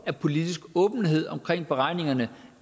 af politisk åbenhed om beregningerne